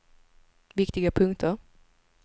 viktiga punkter